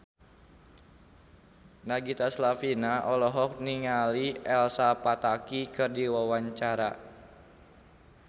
Nagita Slavina olohok ningali Elsa Pataky keur diwawancara